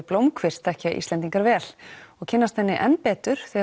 blómkvist þekkja Íslendingar vel og kynnast henni enn betur þegar